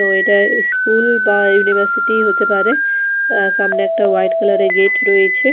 তো এটা স্কুল বা ইউনিভার্সিটি হতে পারে অ্যা সামনে একটা হোয়াইট কালার -এর গেট রয়েছে।